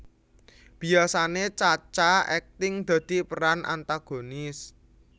Biyasane Cha Cha akting dadi peran antagonis